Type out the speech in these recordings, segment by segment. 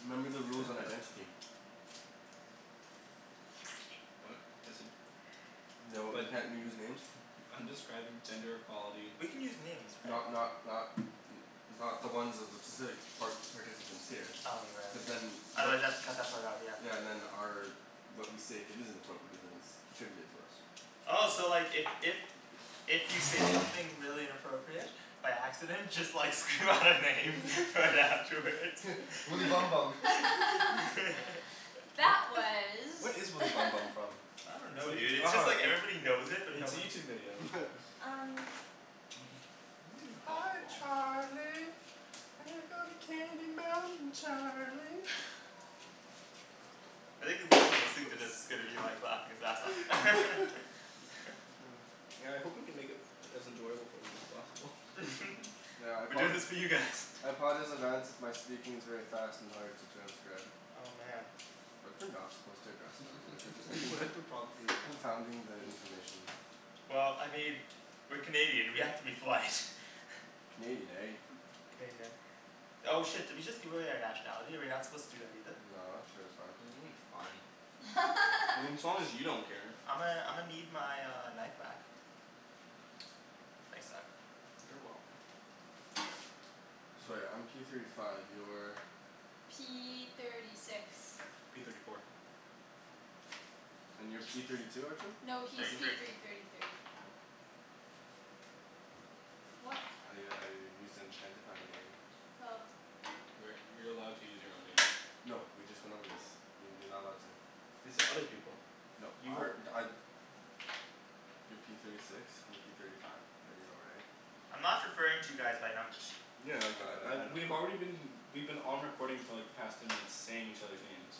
Remember the rules on identity. What? Just said No, you But can't use names. I'm describing gender equality. We can use names, right? Not not not n- not the ones of the specific par- participants here. Oh, you're right Cuz ye- then otherwise they'll have to cut that part out, yeah. Yeah, and then our but we say if it isn't appropriate it isn't attributed to us. Oh so like if if If you say something really inappropriate by accident just like scream out a name right afterwards Woody Bum Bum Wha- That was what is Woody Bum Bum from? I don't know dude, it's just like everybody knows it But but no it's a one YouTube video. Um Hi Charlie, we go to Candy Mountain Charlie. I think the person listening to Oops this is gonna be like laughing his ass off Yeah, I hope we can make it as enjoyable for them as possible. Yeah, I We're apo- doing this for you guys. I apologize in advance if my speaking is very fast and hard to transcribe. Oh man What if we're not supposed to address them? What if we're just thinking confounding the information. Well, I mean, we're Canadian, we have to be polite. Canadian, eh? Canadian, eh? Oh shit, did we just give away our nationality? Are we not supposed to do that either? No, I'm sure it's fine. It's fine. I mean as long as you don't care. I'ma I'ma need my uh knife back. Thanks bud. You're welcome. So right, I'm P thirty five, you're P thirty six P thirty four And you're P thirty two, Arjan? No, he's Thirty Arjan? P three thirty thirty three. What? I I used that to identify your name. Oh. We're you're allowed to use your own name. No, we just went over this. You- you're not allowed to. They said other people. No You were our You're P thirty six, I'm P thirty five. There you go right? I'm not referring to you guys by numbers. Yeah like I I uh we've already been we've been on recording for like the past ten minutes saying each others' names.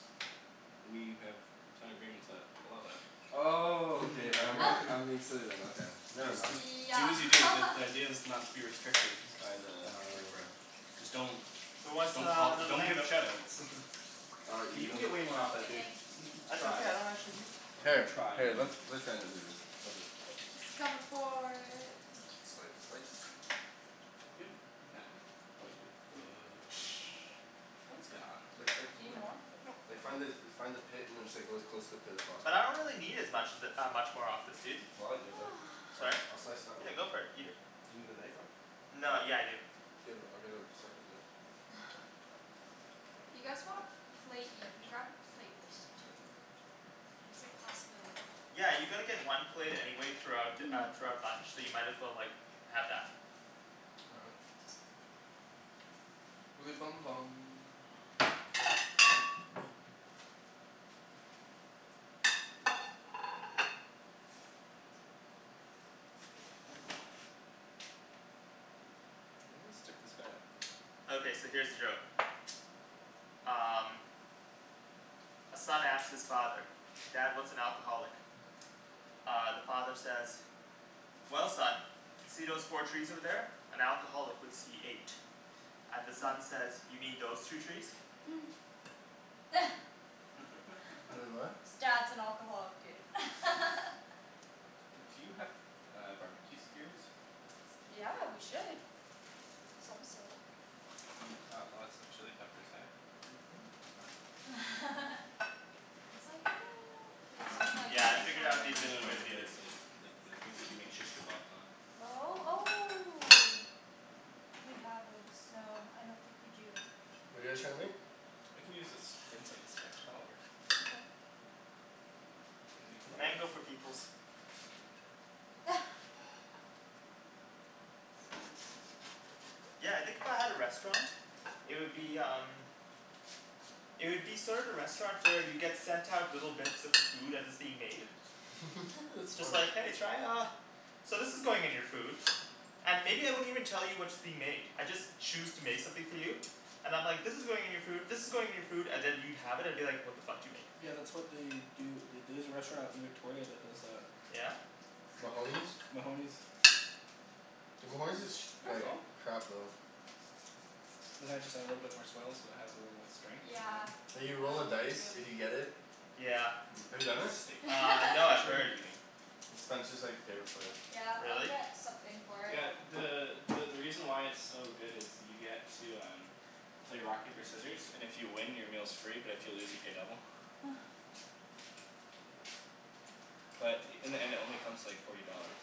We have signed agreements that allow that. Oh, okay all right, I'm being remember? silly then, okay. Never Just mind. just do Yeah as you do because the idea is not to be restricted by the recording. Just don't Who wants Don't uh call, another don't give mango? shout outs. K, you can get No way more off I'm that, good, dude. thanks. That's Try. okay, I don't actually need Here, Try let man let It's comin' for Sli- slice? It's like Do something you need like more? Like find the find the pit and just go as close to the pit as possible. But I don't really need as much of it uh much more of this, dude. Well I'll eat it then. I'll Sorry? jus- I'll slice Yeah, go for it, eat it. Do you need the knife though? No, yeah I do. Do you have a- I'll get a second knife. You guys want a plate, you can grab a plate, too. Like it's a possibility. Yeah, you're gonna get one plate anyway throughout uh throughout bunch, so you might as well like have that. All right. Woody Bum Bum Okay, so here's a joke Um A son asks his father, "Dad, what's an alcoholic?" Uh the father says "Well son, see those four trees over there? An alcoholic would see eight." And the son says "You mean those two trees?" Wai- , what? Dad's an alcoholic dude Do you have uh barbecue skewers? Yeah, we should Of some sort Got lots of chili peppers eh? It's like no, like something like Yeah, I this? figured out the Or like No efficient no way to do this. like like like the things that you make shish kebabs on Oh, oh Do we have this? No, I don't think we do. What're you guys trying to make? I can use this incense stick, that'll work. Okay. And then you can light it. Mango for peoples. Yeah, I think if I had a restaurant, it would be um It would be sort of the restaurant where you get sent out little bits of the food as it's being made That's It's smart like "Hey, try uh" "So this is going in your food" And maybe I wouldn't even tell you what's being made. I'd just choose to make something for you. And I'm like "this is going in your food, this is going in your food" and then you'd have it and be like "what the fuck did you make?" Yeah that's what they do at the- there's a restaurant in Victoria that does that. Mahoney's? Mahoney's Dude, Mahoney's is sh- There you like go. Perfect. crap though. And then I just I add little bit more swell so it has a little strength Yeah, Like you roll a oh me dice if too. you get it. Yeah. Have you It's done just a it? steak knife. Uh no I've That's where we'll heard be eating. It's Spencer's like favorite place. Yeah, I'll Really? get something for it. Yeah, the the the reason why it's so good is you get to um play rock paper scissors and if you win your meal's free but if you lose you pay double. But in the end it only comes to like forty dollars.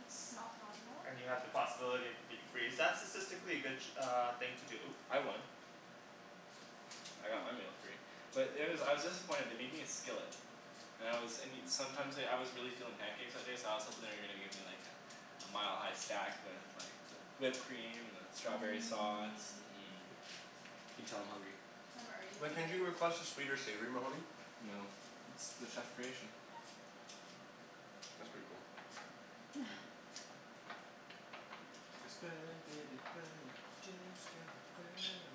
It's not bad at all. And you have the possibility of it being free, is that statistically a good uh thing to do? I won. I got my meal free. But there was, I was disappointed, they made me a skillet. And I was and you, sometimes like, I was really feelin' pancakes that day so I was hopin' they were gonna give me like a a mile-high stack with like the whipped cream and the strawberry sauce, Mmm mm You can tell I'm hungry. I'm already Like can't you hungry. request a sweet or savory Mahoney? No, it's the chef creation. That's pretty cool. Burn baby burn disco inferno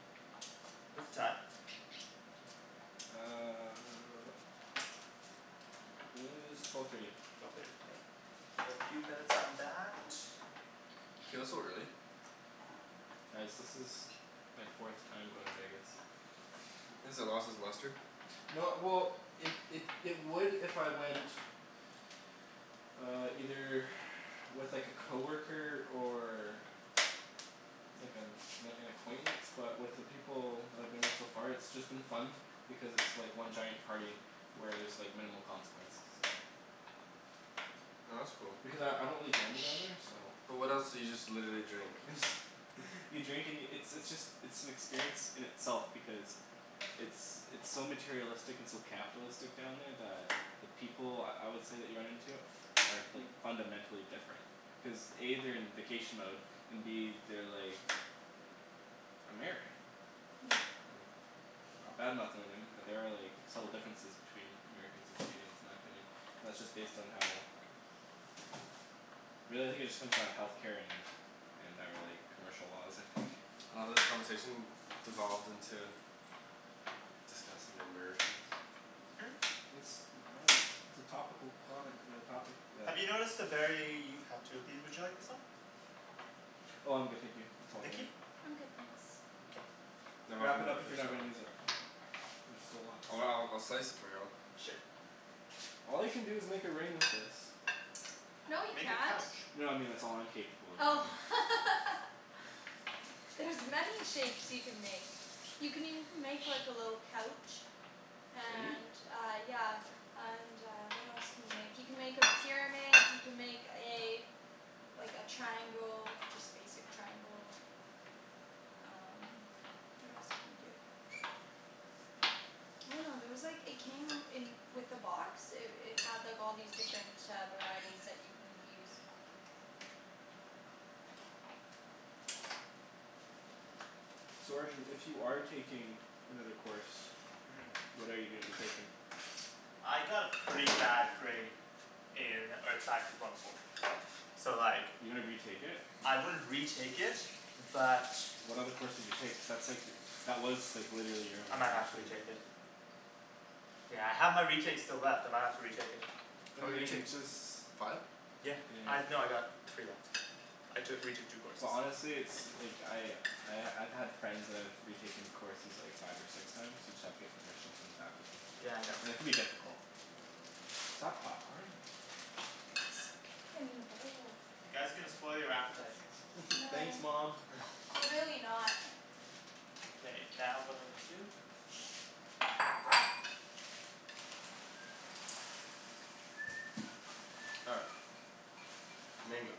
What's the time? Uh It is twelve thirty. Another few minutes on that. It feels so early. Guys this is my fourth time going to Vegas. Has it lost its luster? No well it it it would if I went Uh either with like a coworker or like an an an acquaintance but with the people that I've been with so far it's been just fun because it's just like one giant party where there's like minimal consequences. Oh that's cool. Because I I don't really gamble down there so But what else, so you just literally drink? You drink and yo- it's it's just it's an experience in itself because it's it's so materialistic and so capitalistic down there that the people I would say that you run into are like fundamentally different cuz A they're in vacation mode and B they're like American. Not badmouthing or anything but there are like subtle differences between Americans and Canadians in my opinion and that's just based on how really I think it just comes down to healthcare and our like commercial laws I think. I love how this conversation devolved into discussing the Americans. Hmm? I dunno it's a topical comment on a topic that Have you noticed a very, you've had two of these, would you like this one? Oh I'm good, thank you, it's all Nikki? dandy. I'm good, thanks. Okay. No Wrap it up if you're not gonna use it. There's still lots. Oh I'll I'll slice it for you. Sure. All you can do is make a ring with this. No you Make a can't. couch. No I mean that's all I'm capable of Oh doing. There's many shapes you can make. You can even make like a little couch. Can you? And uh, yeah And uh what else can you make, you can make a pyramid you can make a Like a triangle, just basic triangle. Um what else can you do? I dunno, there was like, it came in with the box, it it had like all these different uh varieties that you can use. So Arjan if you are taking another course Mm What are you gonna be taking? I got a pretty bad grade in earth sciences one oh four, so like You're gonna retake it? I wouldn't retake it but What other courses you take? Cuz that's like, that was like literally your I only might have to option. retake it. Yeah I have my retakes still left, I might have to retake it. What How do many you mean? retakes? Just Five? Yeah, I, no I got three left, I took retook two courses. Well honestly it's like, I I I've had friends that have retaken courses like five or six times you just have to get permission from the faculty Yeah, I know. and it can be difficult. Is that popcorn? In the bowl You guys are gonna spoil your appetite. Thanks No. mom. We're really not K, now what do I need to do? All right. Mango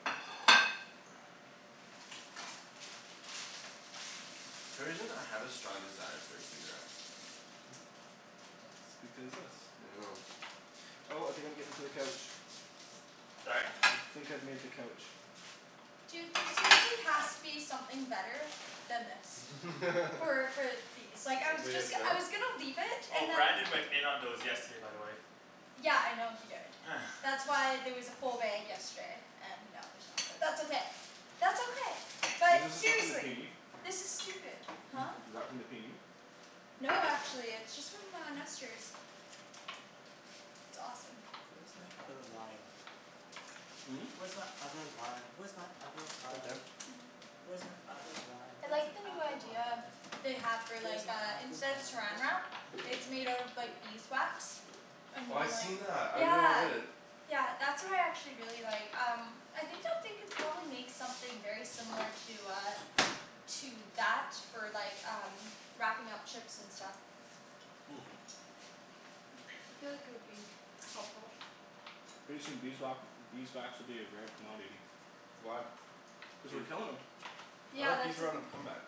For some reason I have a strong desire for a cigarette. Because this I dunno. Oh I think I'm getting to the couch. Sorry? I think I've made the couch. Dude there seriously has to be something better than this. So like I was Is it just I was gonna leave it Oh, and then Brandon went in on those yesterday by the way. Yeah I know he did, that's why there was a full bag yesterday and now there's not, but that's okay, that's okay, Is but this the stuff from the seriously, PNE? this is stupid. Huh? Is that from the PNE? No, actually, it's just from uh Nester's. It's awesome. Where's my other lime? Hm? Where's my other lime? Where's my other lime? Where's my other lime? I That's like an the new apple idea lime. they have for Where's like my uh other instead of lime? saran Where's my wrap other it's made out of lime? like beeswax. And Oh I've like, seen that, I really yeah. wanted it. Yeah that's what I actually really like um I think that they could probably make something very similar to uh To that for like um wrapping up chips and stuff. I feel like it would be helpful. Pretty soon beeswa- beeswax will be a rare commodity. Why? Cuz we're killin' 'em. I Yeah thought that's bees were on a a comeback.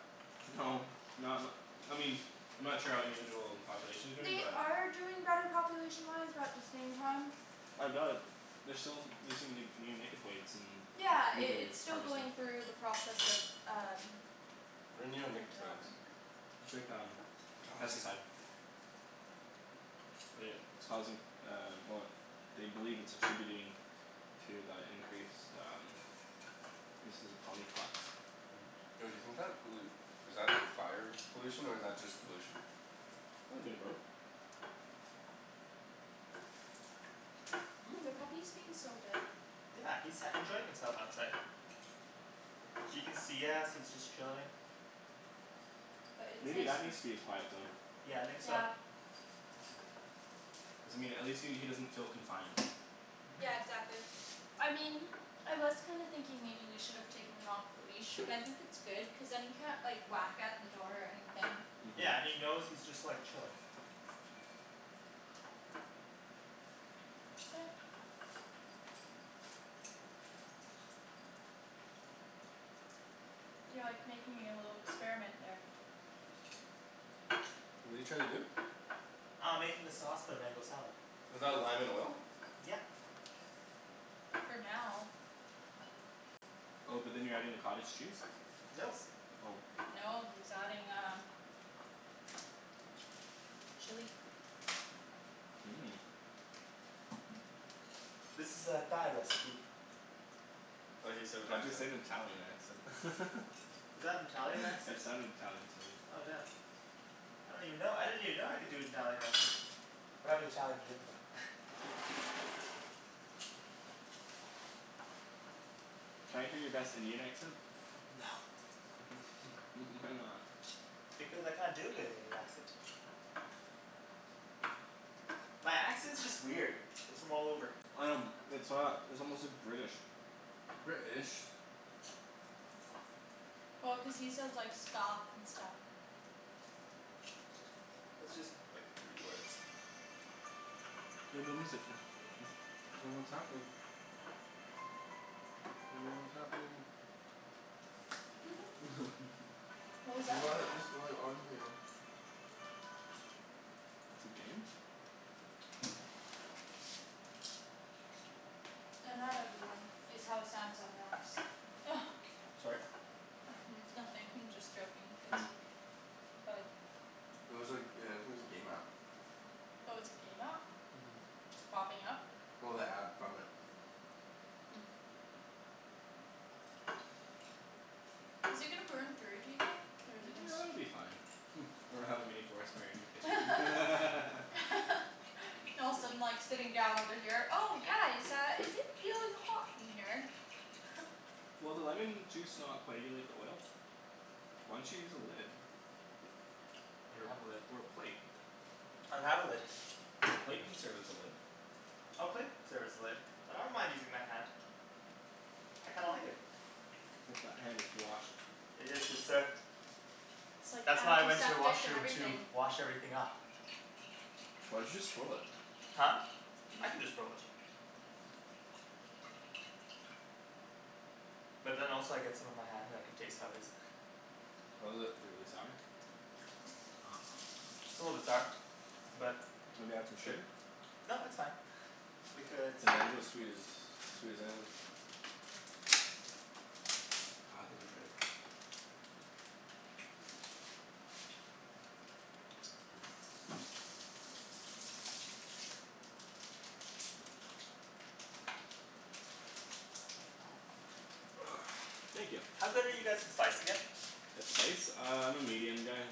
No, not n- I mean, I'm not sure how individual populations are doing They but are doing better population wise but at the same time I doubt it, they're still using like neonicotoids in Yeah, it blueberry it's still harvesting. going through the process of um What are like neonicotoids? development. It's like um, God pesticide But it it's causing um well they believe it's attributing to the increased um instances of colony collapse. Yo do you think that pollu- is that fire pollution or is that just pollution? Oh a bit of both. The puppy's being so good. Yeah, he's sat enjoying himself outside. He can see us, he's just chilling. But it's Maybe nice. that needs to be his quiet zone. Yeah, I think so. Yeah. Doesn't mean at least he he doesn't feel confined. Yeah exactly, I mean I was kind of thinking maybe we should have taken him off the leash but I think it's good cuz then he can't like whack at the door or anything. Mhm Yeah, and he knows he's just like chilling. Yeah. You're like making a little experiment there. What're you trying to do? Uh I'm making the sauce for the mango salad. Is that lime and oil? Yep. For now Oh but then you're adding the cottage cheese? Nope. Oh No, he's adding um Chili Mmm This is a Thai recipe. I love how you say it with the Why'd you say accent. it in an Italian accent? Is that an Italian accent? It sounded Italian to me. Oh damn. I don't even know, I didn't even know I could do an Italian accent. We're having Thai for dinner though. Can I hear your best Indian accent? No. why not? Because I can't do a good Indian accent. My accent's just weird, it's from all over. Um it's not, it's almost like British. British Well cuz he says like "skahf" and stuff. It's just like three words. No no music I don't know what's happening. Don't know what's happening. What was that What about? is going on here? It's a game? No not everyone, it's how Samsung apps Sorry? Nothing I'm just joking cuz Like It was like uh it was a game app. Oh it's a game app? Mhm Popping up? Well, the ad from it. Is it gonna burn through, do you think? Or is it gonna s- It'll be fine or we'll have a mini forest fire in your kitchen All of a sudden like sitting down over here, "Oh guys uh is it feeling hot in here?" Will the lemon juice not coagulate the oil? Why don't you use a lid? I Or don't have a lid. a or a plate? I don't have a lid. The plate can serve as a lid. Oh plate could serve as a lid, but I don't mind using my hand. I kinda like it. Hope that hand is washed. It is, good sir. Like That's why I went to the antiseptic and washroom to everything. wash everything up. Why'd you just throw it? Huh? I can just throw it. But then also I get some on my hand and I can taste how it is. How is it? Really sour. It's a little bit sour. But, Maybe add some shit sugar? No, it's fine. Because The mango's sweet as, sweet as anything. God, those are good. Thank ya. How good are you guys with spice again? That spice? Uh I'm a medium guy.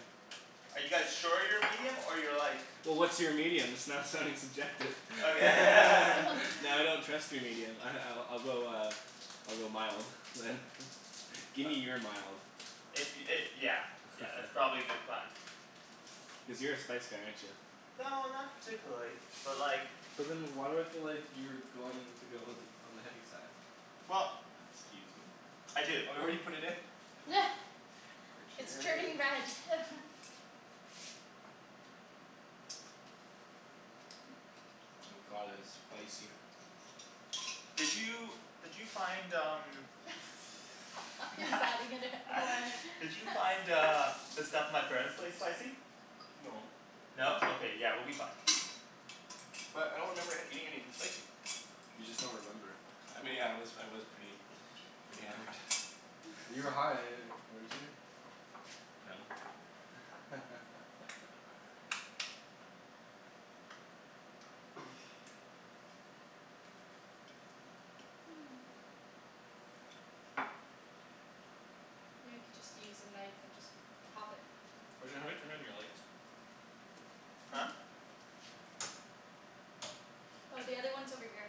Are you guys sure you're medium or you're like Well what's your medium? That's not sounding subjective Okay Now I don't trust your medium ah I I'll go uh I'll go mild, man. Gimme your mild. If y- it yeah yeah that's probably a good plan. Cuz you're a spice guy, aren't ya? No not particularly, but like But then why do I feel like you're going to go all th- on the heavy side? Well Excuse me? I do It's turning Arjan red Oh my god, that's spicy. Did you did you find um He's adding in it more in Did you find uh the stuff at my parents' place spicy? No. No? Okay, yeah we'll be fine. But I don't remember eating anything spicy. You just don't remember. I mean I was I was pretty pretty hammered. You were high, weren't you? You know you could just use a knife and just pop it. Arjan, how do I turn on your lights? Huh? Hmm? Yeah. Oh, the other one's over here.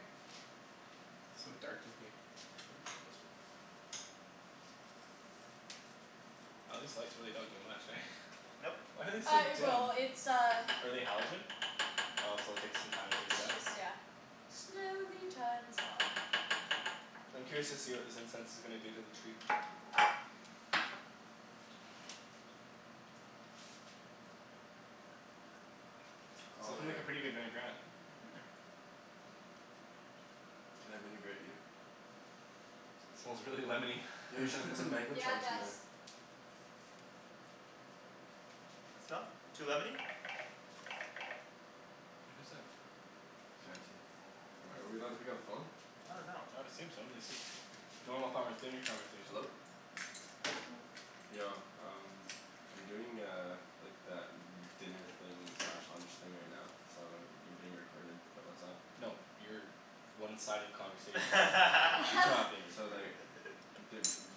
So dark in here. Maybe we'll turn this one on. Aw these lights don't really do much eh? Nope. Why are they so Uh it dim? will, it's uh Are they halogen? Oh so it'll take some time to heat It's up? just yeah, slowly turns on. I'm curious to see what this incense is gonna do to the tree. It's Oh lookin' yeah. like a pretty good vinaigrette. Mhm Can I vinaigrette you? Smells really lemony Yo, you should put some Mm, mango yeah it chunks in does. there. So? Too lemony? Who's that? Am I, are we allowed to pick up the phone? I dunno. I would assume so, they said normal conver- dinner conversation. Hello? Yo, um I'm doing uh like that dinner thing slash lunch thing right now so you're being recorded but what's up? No, your one-sided conversation is being recorded. He's not being So recorded. like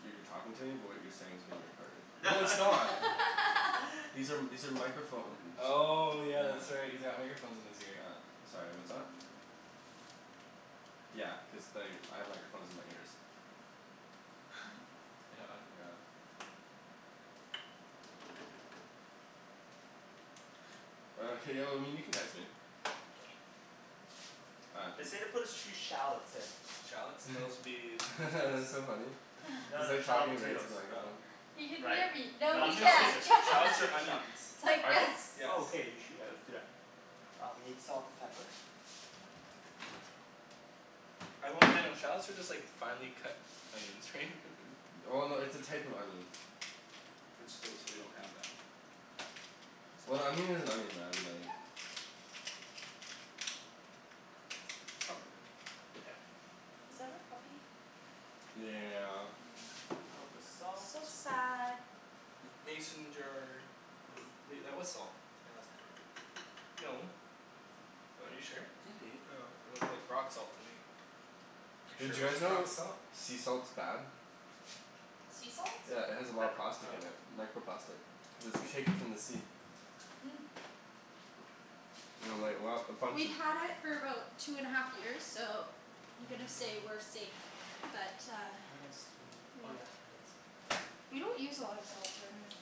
you're talking to me but what you're saying is being recorded. No No it's not. These are these are microphone Oh yeah, that's Yeah. right, he's got microphones in his ear. Yeah, sorry what's up? Yeah, cuz like I have microphones in my ears. Oh hey y- well I mean you can text me. All right, They peace. say to put a sh- few shallots in. Shallots? Those'll be That's so funny No, he's no like shallot talking right potatoes. to the Oh microphone. He can Right? hear me, But no No, I'm he gonna shallots skip can't it. I'm gonna shallots are skip the shop. onions. it's like Are they? yes Yes. Oh okay, you should, yeah let's do that. I'll be salt and pepper. I hope they don't, shallots are just like finely cut onions right? Well no, it's a type of onion. Which, so so we don't have that. That's Well an fine. onion is an onion man, like It's not a big deal. Yeah. Was that our puppy? Yeah. Little bit of salt. So sad. Mason jar. Wait, that was salt. No, that's pepper. No. What, are you sure? Yeah, dude. Oh, it looked like rock salt to me. You're sure Did it you guys wasn't rock know salt? sea salt's bad? Sea salt? Yeah it has a lot of Pepper. plastic Oh, in okay. it. Microplastic. Cuz it's taken from the sea. Mm. And like a lot a bunch We've of had it for about two and a half years, so I'm gonna say we're safe, but uh What else do I need? Oh Yep. yeah, onions. We don't use a lot of salt generally.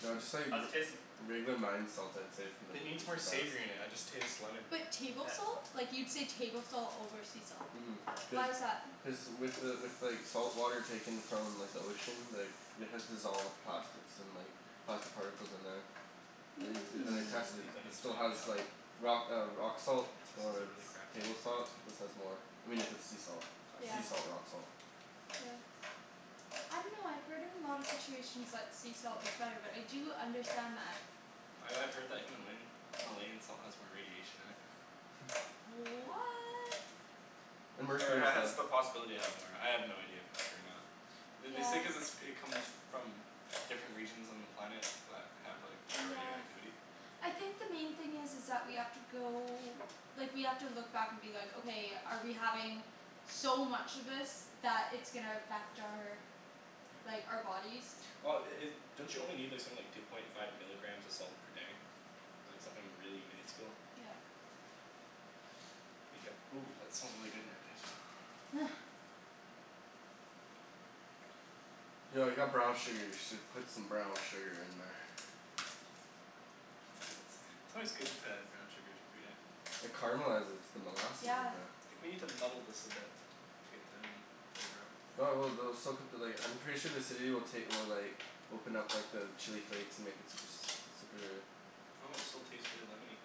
No I just thought you'd How's v- it tasting? regular mined salt I'd say from the, It needs is more the best. savory in it. I just taste lemon. But table Mkay. salt? Like you'd say table salt over sea salt. Mhm. Cuz Why is that? Cuz with the with like salt water taken from like the ocean like it has dissolved plastics and like plastic particles in there. They This then they tested it. these Mmm. It onions might still has need help. like rock uh rock salt This is a or really crappy table knife you're salt. using. This has more. I mean if it's sea salt, Yeah. Okay sea salt rock salt. Yeah. I dunno, I've heard in a lot of situations that sea salt is better, but I do understand that. I I've heard that Himalayan Himalayan salt has more radiation in it. What! And Or it mercury and ha- has stuff. the possibility to have more. I have no idea if it's true or not. Th- they say Yeah. cuz it's it comes from different regions on the planet that have like higher Yeah. radioactivity. I think the main thing is is that we have to go, like we have to look back and be like "Okay, are we having so much of this that it's gonna affect our like, our bodies?" Well i- i- don't you only need like something like two point five milligrams of salt per day? Like something really minuscule? Yep. Ooh, that smells really good now, can I smell? Yo I got brown sugar. You should put some brown sugar in there. It's always good to add brown sugar to food, eh? It caramelizes. It's the molasses Yeah. in there. I think we need to muddle this a bit to get the onion flavor out. No I will, they'll still cut the like, I'm sure the acidity will take will like open up like the chili flakes and make it super s- super Well, it still tastes really lemony.